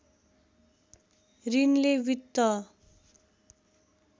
ऋणले वित्त